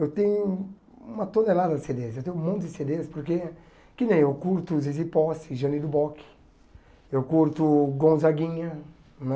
Eu tenho uma tonelada de cê dês, eu tenho um monte de cê dês, porque, que nem eu curto Zizi Posse, Jani Duboc, eu curto Gonzaguinha, né?